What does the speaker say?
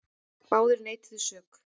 Báðir neituðu þeir sök.